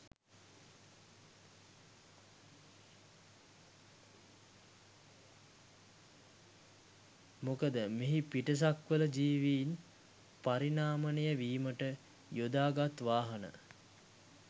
මොකද මෙහි පිටසක්වල ජීවින් පරිණාමනය වීමට යොදාගත් වාහන